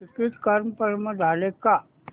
ticket confirm झाले का